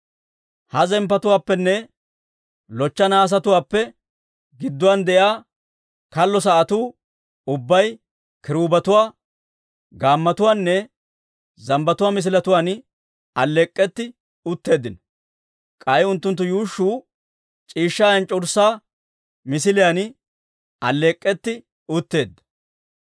Ha zemppotuwaappenne lochcha nahaasetuwaappe gidduwaan de'iyaa kallo sa'atuu ubbay kiruubetuwaa, gaammotuwaanne zambbatuwaa misiletuwaan alleek'k'etti utteeddino; k'ay unttunttu yuushshuu c'iishshaa enc'c'urssaa misiliyaan alleek'k'etti utteedda.